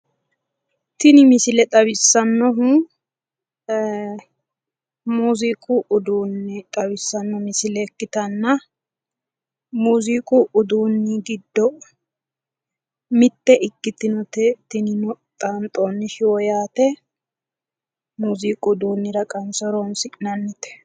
tini misile xawissannohu muuziiqu uduunne xawissannoha misile ikkitanna, muziiqu uduunni giddo mitte ikkitinote xaanxonni shiwo yaate muuziqu uddunnira qanse horonsi'nannite